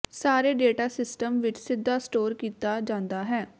ਸਾਰੇ data system ਵਿੱਚ ਸਿੱਧਾ ਸਟੋਰ ਕੀਤਾ ਜਾਂਦਾ ਹੈ